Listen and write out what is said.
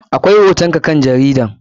Akwai hoton ka kan jaridar.